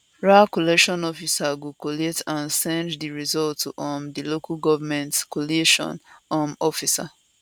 ra collation officer go collate and send di result to um di local government collation um officer